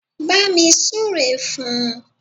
Bámi súre fún un!